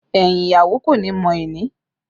Ẹyin ìyàwó kò ní mọ ẹni